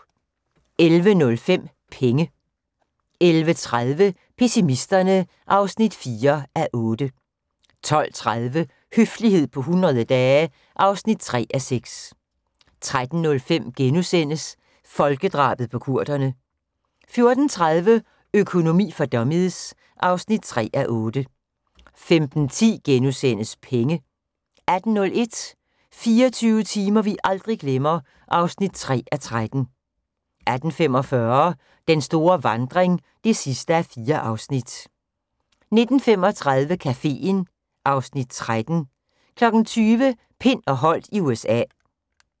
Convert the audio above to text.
11:05: Penge 11:30: Pessimisterne (4:8) 12:30: Høflighed på 100 dage (3:6) 13:05: Folkedrabet på kurderne * 14:30: Økonomi for dummies (3:8) 15:10: Penge * 18:01: 24 timer vi aldrig glemmer (3:13) 18:45: Den store vandring (4:4) 19:35: Caféen (Afs. 13) 20:00: Pind og Holdt i USA